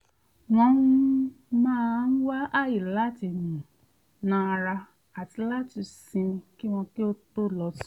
wọ́n um máa ń wá àyè láti um nà ara àti láti sinmi kí wọ́n tó lọ sùn